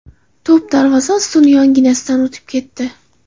To‘p darvoza ustuni yonginasidan o‘tib ketdi.